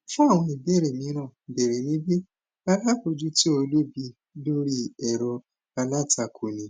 fun àwọn ìbéèrè míràn bère níbi alábòjútó olùbi lórí ẹrọ alátakò ní